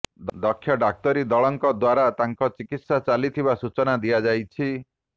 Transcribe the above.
ଦକ୍ଷ ଡାକ୍ତରୀ ଦଳଙ୍କ ଦ୍ୱାରା ତାଙ୍କ ଚିକିତ୍ସା ଚାଲିଥିବା ସୂଚନା ଦିଆଯାଇଛି